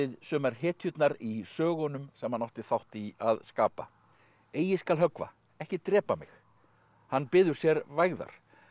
sumar hetjurnar í sögunum sem hann átti þátt í að skapa eigi skal höggva ekki drepa mig hann biður sér vægðar